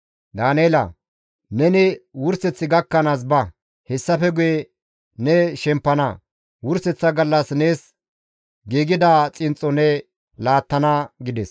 «Daaneela! Neni wurseth gakkanaas ba; hessafe guye ne shempana; wurseththa gallas nees giigida xinxxo ne laattana» gides.